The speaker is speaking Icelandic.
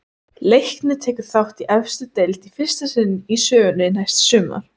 Leiknir tekur þátt í efstu deild í fyrsta sinn í sögunni næsta sumar.